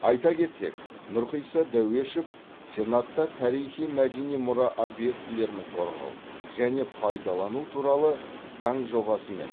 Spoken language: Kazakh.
айта кетсек нұрқиса дәуешов сенатта тарихи мәдени мұра объектілерін қорғау және пайдалану туралы заң жобасы мен